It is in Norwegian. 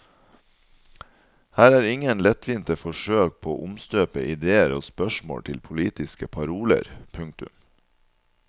Her er ingen lettvinte forsøk på å omstøpe ideer og spørsmål til politiske paroler. punktum